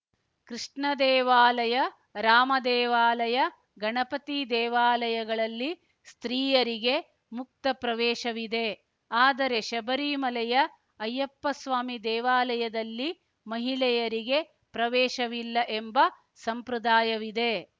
ಕೃಷ್ಣ ದೇವಾಲಯ ರಾಮ ದೇವಾಲಯ ಗಣಪತಿ ದೇವಾಲಯಗಳಲ್ಲಿ ಸ್ತ್ರೀಯರಿಗೆ ಮುಕ್ತ ಪ್ರವೇಶವಿದೆ ಆದರೆ ಶಬರಿಮಲೆಯ ಅಯ್ಯಪ್ಪಸ್ವಾಮಿ ದೇವಾಲಯದಲ್ಲಿ ಮಹಿಳೆಯರಿಗೆ ಪ್ರವೇಶವಿಲ್ಲ ಎಂಬ ಸಂಪ್ರದಾಯವಿದೆ